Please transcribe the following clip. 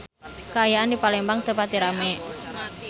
Kaayaan di Palembang teu pati rame